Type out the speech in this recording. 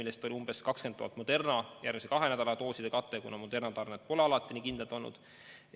Veel umbes 20 000 on Moderna järgmise kahe nädala dooside kate, kuna Moderna tarned ei ole kuigi kindlad olnud.